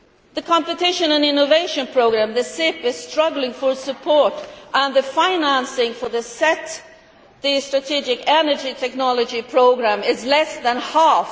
The competition and innovation programme, the CIP, is struggling for support and the financing for SET, the strategic energy technology programme, is at less than half.